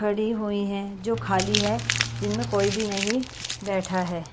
खड़ी हुई हैं जो खाली है जिनमें कोई भी नहीं बैठा है।